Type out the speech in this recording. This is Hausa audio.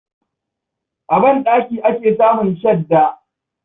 A banɗaki ake samun shadda.